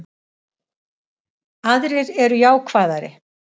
Aðrir eru jákvæðari